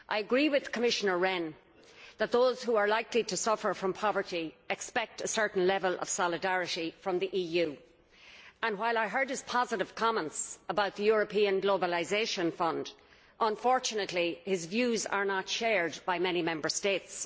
I agree with Commissioner Rehn that those who are likely to suffer from poverty expect a certain level of solidarity from the EU, and while I heard his positive comments about the European Globalisation Fund, unfortunately his views are not shared by many Member States.